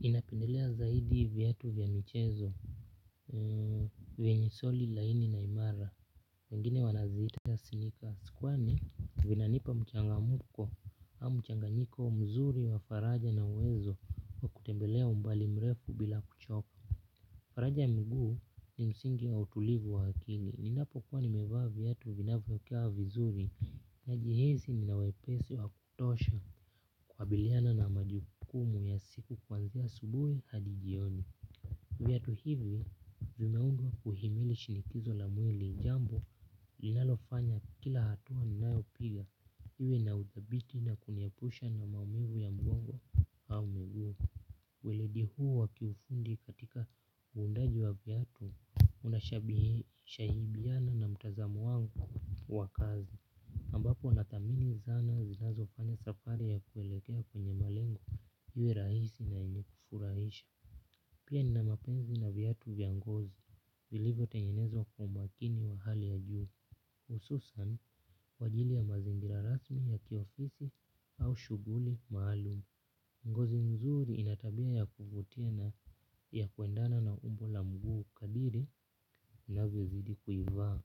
Ninapendelea zaidi viatu vya michezo vyenye soli laini na imara wengine wanaziita sneakers kwani vinanipa mchangamko au mchanganyiko mzuri wa faraja na uwezo wa kutembelea umbali mrefu bila kuchoka faraja ya miguu ni msingi wa utulivu wa akili. Ninapo kuwa nimevaa viatu vinavyo kaa vizuri najihisi nina wepesi wa kutosha kukabiliana na majukumu ya siku kuanzia asubuhi hadi jioni. Viatu hivi vimeundwa kuhimili shinikizo la mwili jambo linalofanya kila hatua ninayo piga iwe na udhabiti na kuniepusha na maumivu ya mgongo au mguu. Weledi huu wa kiufundi katika uundaji wa viatu unashahibiana na mtazamo wangu wa kazi ambapo nathamini zana zinazo fanya safari ya kuelekea kwenye malengo iwe rahisi na yenye kufurahisha. Pia nina mapenzi na viatu vya ngozi. Zilivyo tengenezwa kwa umakini wa hali ya juu hususan kwa ajili ya mazingira rasmi ya kiofisi au shuguli maalumu. Ngozi mzuri ina tabia ya kuvutia na ya kuendana na umbo la mguu kadiri unavyozidi kuivaa.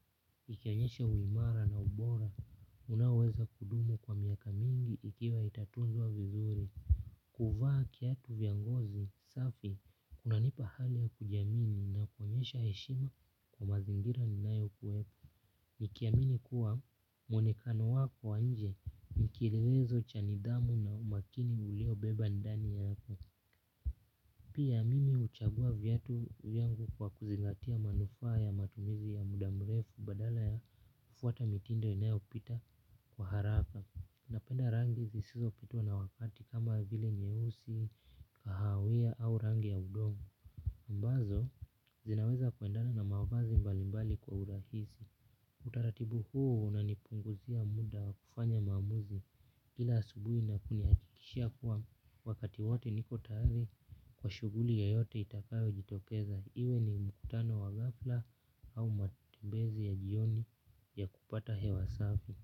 Ikionyesha uimara na ubora, unaoweza kudumu kwa miaka mingi ikiwa itatunzwa vizuri. Kuvaa kiatu vya ngozi, safi, kunanipa hali ya kujiamini na kuonyesha heshima kwa mazingira ninayokuepo. Nikiamini kuwa muonekano wako wa nje ni kielelezo cha nidhamu na umakini ulio beba ndani yako. Pia mimi huchagua viatu vyangu kwa kuzingatia manufaa ya matumizi ya muda mrefu badala ya kufuata mitindo inayo pita kwa haraka napenda rangi zisizo pitwa na wakati kama vile nyeusi, kahawia au rangi ya udongo ambazo zinaweza kuendana na mavazi mbalimbali kwa urahisi utaratibu huu unanipunguzia muda wa kufanya maamuzi kila asubuhi na kunihakikishia kuwa wakati wote niko tayari kwa shuguli yeyote itakayo jitokeza. Iwe ni mkutano wa ghafla au matembezi ya jioni ya kupata hewa safi.